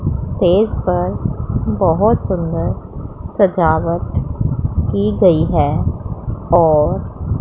stage पर बहोत सुंदर सजावट की गई है और--